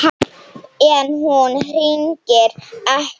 En hún hringir ekki.